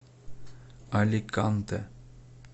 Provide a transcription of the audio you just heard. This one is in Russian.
аликанте